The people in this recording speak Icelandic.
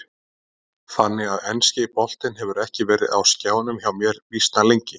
Þannig að enski boltinn hefur ekki verið á skjánum hjá mér býsna lengi.